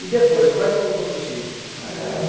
E depois, quais são os outros filhos? Ah